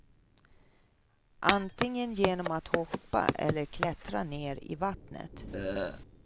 Antingen genom att hoppa eller klättra ner i vattnet.